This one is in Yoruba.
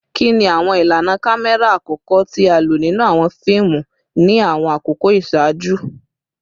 Kini awọn ilana kamẹra akọkọ ti a lo ninu awọn fiimu ni awọn akoko iṣaaju?